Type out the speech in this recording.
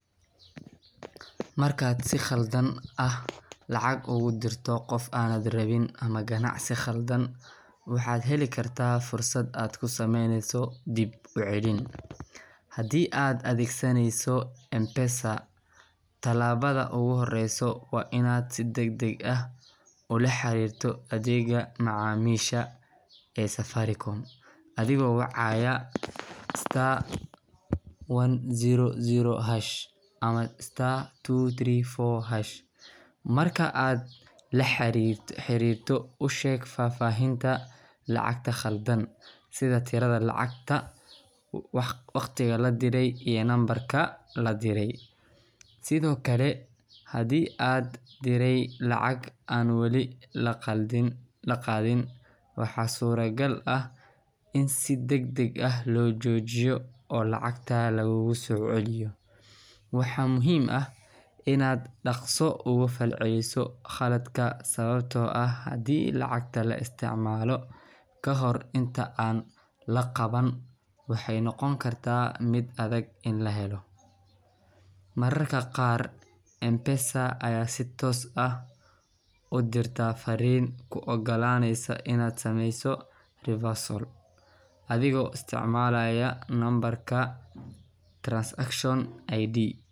Markaad si khalad ah lacag ugu dirto qof aanad rabin ama ganacsi khaldan, waxaad heli kartaa fursad aad ku samayso dib-u-celin. Haddii aad adeegsanayso M-Pesa, tallaabada ugu horreysa waa inaad si degdeg ah ula xiriirto adeegga macaamiisha ee Safaricom adigoo wacaya star one zero zero hash ama star two three four hash. Marka aad la xiriirto, u sheeg faahfaahinta lacagta khaldan – sida tirada lacagta, waqtiga la diray, iyo nambarka la diray. Sidoo kale, haddii aad diray lacag aan wali la qaadin, waxaa suuragal ah in si degdeg ah loo joojiyo oo lacagta laguugu soo celiyo. Waxaa muhiim ah inaad dhaqso uga falceliso khaladka, sababtoo ah haddii lacagta la isticmaalo ka hor inta aan la qaban, waxay noqon kartaa mid adag in la helo. Mararka qaar, M-Pesa ayaa si toos ah u soo dirta fariin kuu oggolaaneysa inaad samayso reversal adigoo isticmaalaya nambarka transaction ID.